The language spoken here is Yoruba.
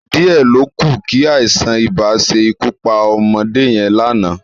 Díẹ̀ ló kù kí àìsàn-ibà ṣe ikú pa ọmọdé yẹn lánàá